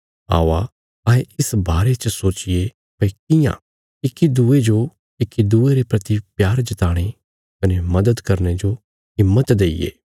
औआ अहें इस बारे च सोचिये भई कियां इक्की दूये जो इक्की दूये रे प्रति प्यार जताणे कने मदद करने जो हिम्मत देईये